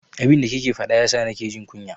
Abin da kike faɗa yasa na ke jin kunya.